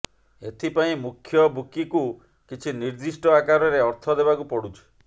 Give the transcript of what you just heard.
ଏଥିପାଇଁ ମୁଖ୍ୟ ବୁକିକୁ କିଛି ନିର୍ଦ୍ଦିଷ୍ଟ ଆକାରରେ ଅର୍ଥ ଦେବାକୁ ପଡୁଛି